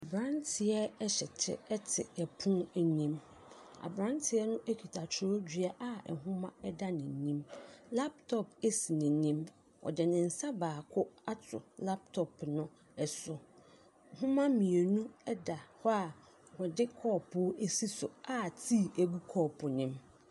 Abranteɛ ɛhyɛ kyɛ ɛte ɛpono anim. Abranteɛ no ekita kyerɛwdua a nhoma ɛda n'anim. Laptɔp esi n'anim. Ɔde ne nsa baako ato laptɔp no ɛso. Nhoma mmienu ɛda hɔ a wɔde cɔpo esi so a tee egu cɔpo nim.